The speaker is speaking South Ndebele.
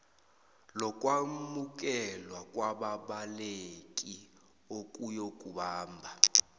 lokwamukelwa kwababaleki ukuyokubamba